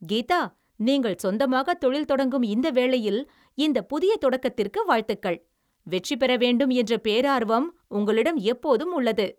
கீதா, நீங்கள் சொந்தமாக தொழில் தொடங்கும் இந்த வேளையில் இந்தப் புதிய தொடக்கத்திற்கு வாழ்த்துகள்! வெற்றி பெற வேண்டும் என்ற பேரார்வம் உங்களிடம் எப்போதும் உள்ளது.